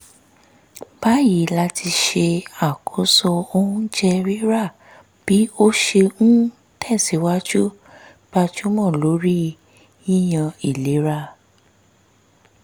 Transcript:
báyìí láti ṣe àkóso oúnjẹ rírà bí ó ṣe ń tẹ̀sìwájú gbájúmọ́ lórí yíyan ìlera